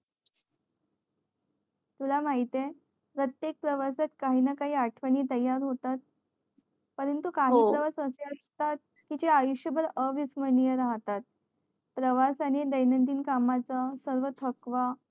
तुला माहित ये प्रत्येक प्रवासात काही ना काही आठवणी तयार होतात परंतु काही प्रवास आशे असतात कि ते आयुष्य भर अविस्म्रिय राहतात प्रवासाने कामाचा सर्व थकवा